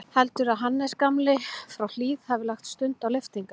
Heldurðu að Hans gamli frá Hlíð hafi lagt stund á lyftingar?